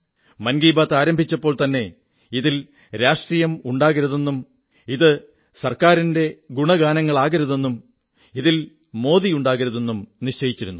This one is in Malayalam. മൻ കീ ബാത് ആരംഭിച്ചപ്പോൾത്തന്നെ ഇതിൽ രാഷ്ട്രീയം ഉണ്ടാകരുതെന്നും ഇത് സർക്കാരിന്റെ ഗുണഗാനങ്ങളാകരുതെന്നും ഇതിൽ മോദി ഉണ്ടാകരുതെന്നും നിശ്ചയിച്ചിരുന്നു